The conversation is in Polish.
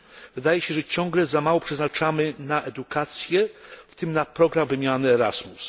Wydaje się, że ciągle za mało przeznaczamy na edukację, w tym na program wymiany Erasmus.